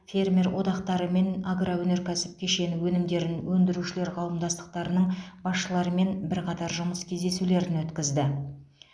фермер одақтары мен агроөнеркәсіп кешені өнімдерін өндірушілер қауымдастықтарының басшыларымен бірқатар жұмыс кездесулерін өткізді